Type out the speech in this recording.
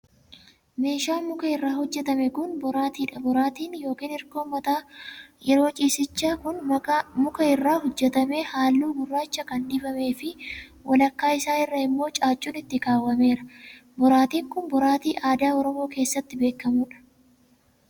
Meeshaan muka irraa hojjatame kun, boraatii dha. Boraatin yokin hirkoon mataa yeroo ciisichaa kun, muka irraa hojjatamee haalluu gurraacha kan dibamee fi walakkaa isaa irraa immoo caaccuun itti kaawwameera. Boraatin kun, boraatii aadaa Oromoo keessatti beekamuu dha.